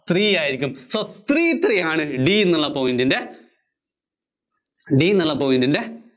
three ആയിരിയ്ക്കും. so three three ആണ് D എന്നുള്ള point ന്‍റെ D എന്നുള്ള point ന്‍റെ